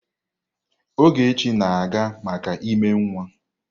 Ogechi na-aga maka ímé nwa.